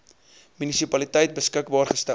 munisipaliteit beskikbaar gestel